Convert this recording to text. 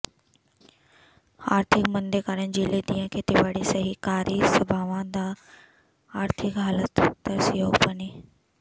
ਆਰਥਿਕ ਮੰਦੇ ਕਾਰਨ ਜ਼ਿਲ੍ਹੇ ਦੀਆਂ ਖੇਤੀਬਾੜੀ ਸਹਿਕਾਰੀ ਸਭਾਵਾਂ ਦੀ ਆਰਥਿਕ ਹਾਲਤ ਤਰਸਯੋਗ ਬਣੀ